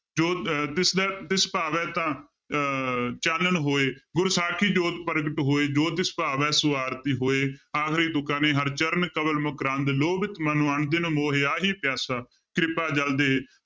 ਜੋ ਅਹ ਤਿਸ ਦੇ ਤਿਸ ਭਾਵੇ ਤਾਂ ਅਹ ਚਾਨਣ ਹੋਇ, ਗੁਰ ਸਾਖੀ ਜੋਤਿ ਪਰਗਟੁ ਹੋਇ, ਜੋ ਤਿਸੁ ਭਾਵੈ ਸੁ ਆਰਤੀ ਹੋਇ, ਆਖਰੀ ਤੁੱਕਾਂ ਨੇ ਹਰਿ ਚਰਣ ਕਮਲ ਮਕਰੰਦ ਲੋਭਿਤ ਮਨੋ ਅਨਦਿਨੋ ਮੋਹਿ ਆਹੀ ਪਿਆਸਾ, ਕ੍ਰਿਪਾ ਜਲੁ ਦੇਹਿ